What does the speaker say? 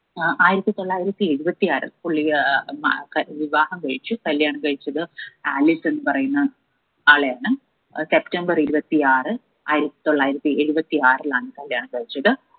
ഏർ ആയിരത്തി തൊള്ളായിരത്തി എഴുപത്തി ആറിൽ പുള്ളി ഏർ വിവാഹം കഴിച്ചു കല്യാണം കഴിച്ചത് ആലിസ് എന്ന് പറയുന്ന ആളെയാണ് അത് സെപ്തംബര് ഇരുപത്തി ആറ് ആയിരത്തി തൊള്ളായിരത്തി എഴുപത്തി ആറിലാണ് കല്യാണം കഴിച്ചത്